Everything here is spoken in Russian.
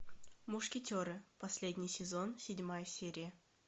мушкетеры последний сезон седьмая серия